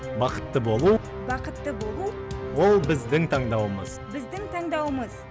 бақытты болу бақытты болу ол біздің таңдауымыз біздің таңдауымыз